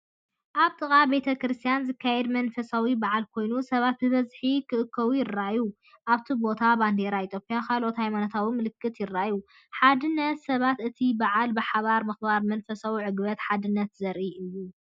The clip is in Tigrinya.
ኣብ ጥቓ ቤተ ክርስቲያን ዝካየድ መንፈሳዊ በዓል ኮይኑ፡ ሰባት ብብዝሒ ክእከቡ ይረኣዩ። ኣብቲ ቦታ ባንዴራታት ኢትዮጵያን ካልኦት ሃይማኖታዊ ምልክታትን ይረኣዩ። ሓድነት ሰባትን እቲ በዓል ብሓባር ምኽባርን መንፈሳዊ ዕግበትን ሓድነትን ዘርኢ እዩ።